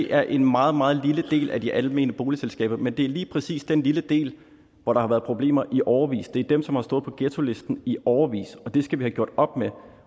er en meget meget lille del af de almene boligselskaber men det er lige præcis den lille del hvor der har været problemer i årevis det er dem som har stået på ghettolisten i årevis og det skal vi have gjort op med